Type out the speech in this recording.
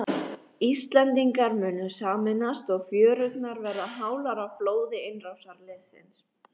Íslendingar munu sameinast og fjörurnar verða hálar af blóði innrásarliðsins.